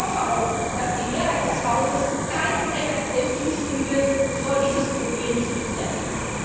wird. Und ich hoffe auch, dass die Mehrheit des Hauses keinem MFR zustimmen wird, bevor dieses Problem geklärt ist.